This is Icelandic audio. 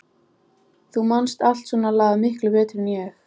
Þú manst allt svona lagað miklu betur en ég.